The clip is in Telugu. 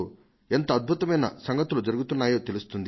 ఎంత అద్భుతమైన సంగతులు జరుగుతున్నాయో తెలుస్తుంది